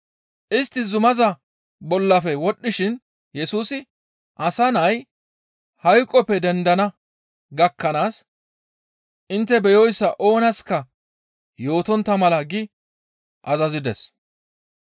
Istti zumaza bollafe wodhdhishin Yesusi, «Asa Nay hayqoppe dendana gakkanaas intte beyoyssa oonaska yootontta mala» gi azazides.